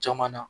Caman na